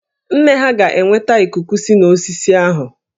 Nne ha ga-enweta ikuku si n'osisi ahụ